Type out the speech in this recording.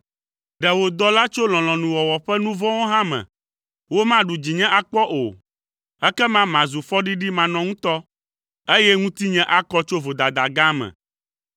Ɖe wò dɔla tso lɔlɔ̃nuwɔwɔ ƒe nu vɔ̃wo hã me; womaɖu dzinye akpɔ o. Ekema mazu fɔɖiɖi manɔŋutɔ, eye ŋutinye akɔ tso vodada gã me.